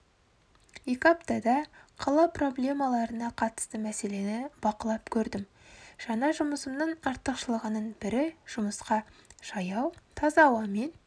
екі аптада қала проблемаларына қатысты мәселені бақылап көрдім жаңа жұмысымның артықшылығының бірі жұмысқа жаяу таза ауамен